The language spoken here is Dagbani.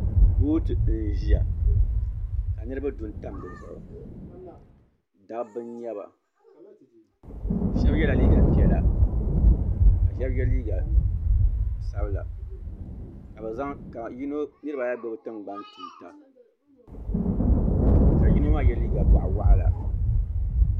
booti n ʒiya ka niraba du n tam dizuɣu dabba n nyɛba shab yɛla liiga piɛla ka shab yɛ liiga sabila ka niraba ayi gbubi tingbani tuuta ka yino maa yɛ liiga boɣa waɣala